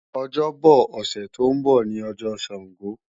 Ọjọ́bo̩ ọ̀sẹ̀ tó ń bọ̀ ní ọjọ́ Sàngó